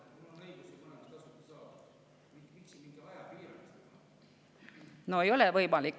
No eelnõu kohaselt ei ole enam võimalik.